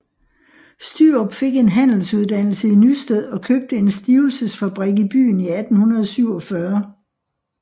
Stürup fik en handelsuddannelse i Nysted og købte en stivelsesfabrik i byen i 1847